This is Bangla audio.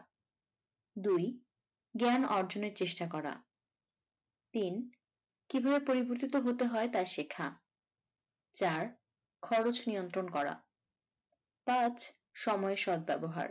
দুই জ্ঞান অর্জনের চেষ্টা করা তিন কিভাবে পরিবর্তিত হতে হয় তা শেখা চার খরচ নিয়ন্ত্রন করা পাঁচ সময়ের সৎ ব্যবহার।